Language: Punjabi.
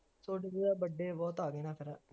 ਦਾ birthday ਬੁਹਤ ਆ ਗਏ ਨਾ ਫਿਰ